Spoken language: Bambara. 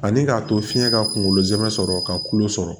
Ani k'a to fiɲɛ ka kungolo zɛmɛ sɔrɔ ka kulo sɔrɔ